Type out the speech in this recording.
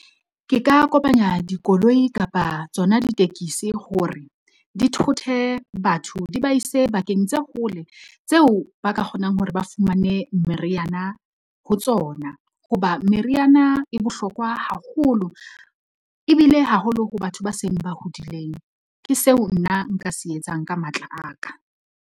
Ke ka kopanya dikoloi kapa tsona ditekisi hore di thothe batho di ba ise bakeng tse hole tseo ba ka kgonang hore ba fumane meriana ho tsona. Hoba meriana e bohlokwa haholo ebile haholo ho batho ba seng ba hodileng. Ke seo nna nka se etsang ka matla aka.